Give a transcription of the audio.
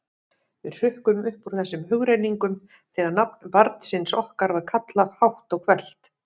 Við hrukkum upp úr þessum hugrenningum þegar nafn barnsins okkar var kallað hátt og hvellt.